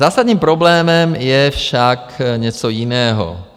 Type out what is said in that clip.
Zásadním problémem je však něco jiného.